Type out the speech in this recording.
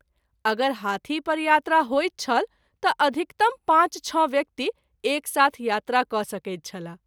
अगर हाथी पर यात्रा होइत छल त’ अधिकतम पाँच छ: व्यक्ति एक साथ यात्रा क’ सकैत छलाह।